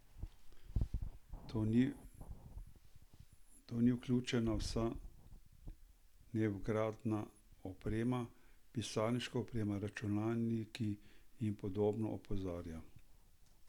V to ni vključena vsa nevgradna oprema, pisarniška oprema, računalniki in podobno, opozarja.